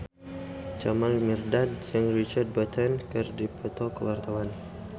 Jamal Mirdad jeung Richard Burton keur dipoto ku wartawan